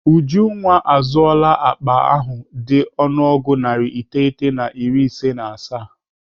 Ujunwa azụọla akpa ahụ dị ọnụego narị iteghete na iri na asaa.